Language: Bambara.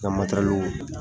N ka matɛrɛliw